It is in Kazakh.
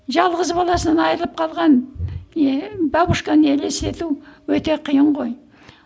жалғыз баласынан айрылып қалған бабушканы елестету өте қиын ғой